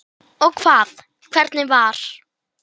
Konan yppti öxlum.